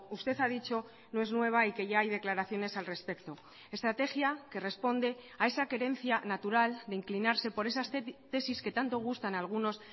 usted ha dicho no es nueva y que ya hay declaraciones al respecto estrategia que responde a esa querencia natural de inclinarse por esas tesis que tanto gustan a algunos